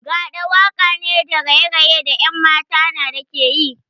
Gaɗa waka ne da raye-raye da 'yan mata na da ke yi.